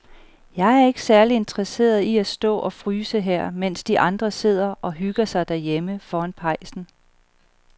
Jeg er ikke særlig interesseret i at stå og fryse her, mens de andre sidder og hygger sig derhjemme foran pejsen.